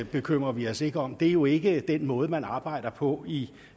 bekymrer vi os ikke om det er jo ikke den måde man arbejder på i